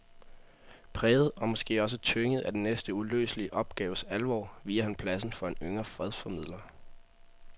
Præget og måske også tynget af den næsten uløselige opgaves alvor viger han pladsen for en yngre fredsformidler.